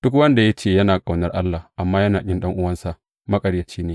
Duk wanda ya ce, Ina ƙaunar Allah, amma yana ƙin ɗan’uwansa, maƙaryaci ne.